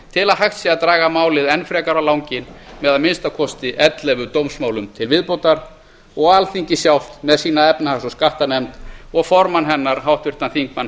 til að hægt sé að draga málið enn frekar á landi með að minnsta kosti ellefu dómsmálum til viðbótar og alþingi sjálft með sína efnahags og skattanefnd og formann hennar háttvirtum þingmanni